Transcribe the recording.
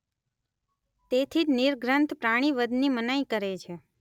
તેથી જ નિગ્રંથ પ્રાણીવધ ની મનાઈ કરે છે.